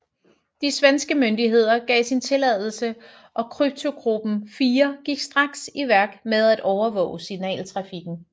De svenske myndigheder gav sin tilladelse og Kryptogruppe IV gik straks i værk med at overvåge signaltrafikken